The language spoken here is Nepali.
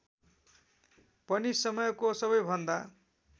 पनि समयको सबैभन्दा